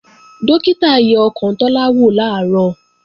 Dókítà yẹ ọkàn Tọ́lá wò làárọ̀